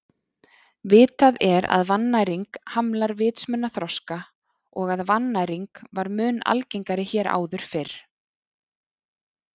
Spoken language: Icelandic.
Vitað er að vannæring hamlar vitsmunaþroska og að vannæring var mun algengari hér áður fyrr.